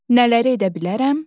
Nələri edə bilərəm?